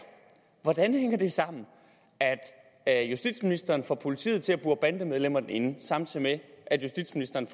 hvordan hænger det sammen at justitsministeren får politiet til at bure bandemedlemmer inde samtidig med at justitsministeren